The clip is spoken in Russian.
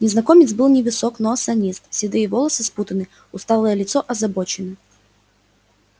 незнакомец был невысок но осанист седые волосы спутаны усталое лицо озабочено